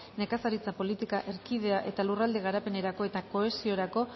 nekazaritza politika erkidea npe eta lurralde garapenerako eta kohesiorako